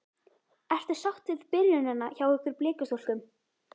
Ertu sátt við byrjunina hjá ykkur Blikastúlkum?